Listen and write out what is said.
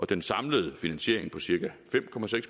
den samlede finansiering på cirka fem